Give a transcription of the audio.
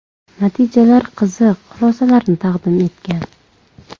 Natijalar qiziq xulosalarni taqdim etgan.